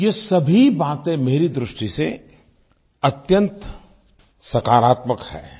ये सभी बातें मेरी दृष्टि से अत्यंत सकारात्मक हैं